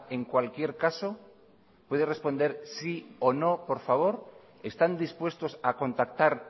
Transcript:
en cualquier caso puede responder sí o no por favor están dispuestos a contactar